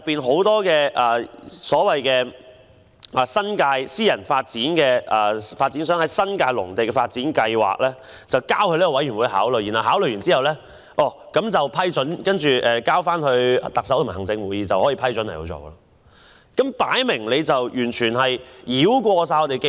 很多私人發展商把新界農地的發展計劃提交予該委員會考慮，該委員會考慮後再經行政長官會同行政會議給予批准，便可落實推行。